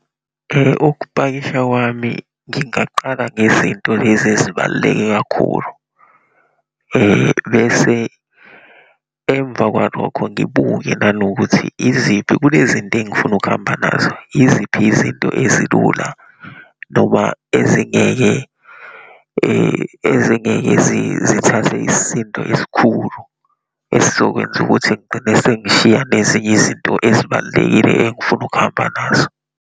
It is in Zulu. Ukupakisha kwami, ngingaqala ngezinto lezi ezibaluleke kakhulu, bese emva kwalokho ngibuke nanokuthi iziphi, kule zinto engifuna ukuhamba nazo, yiziphi izinto ezilula, noma ezingeke ezingeke zithathe isisindo esikhulu esizokwenza ukuthi ngigcine sengishiya nezinye izinto ezibalulekile engifuna ukuhamba nazo.